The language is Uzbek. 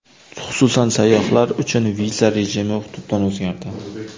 Xususan, sayyohlar uchun viza rejimi tubdan o‘zgardi.